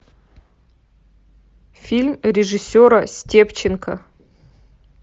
фильм режиссера степченко